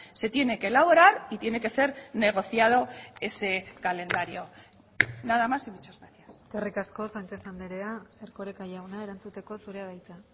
se tiene que elaborar y tiene que ser negociado ese calendario nada más y muchas gracias eskerrik asko sánchez andrea erkoreka jauna erantzuteko zurea da hitza